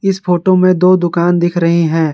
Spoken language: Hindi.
इस फोटो में दो दुकान दिख रहे हैं।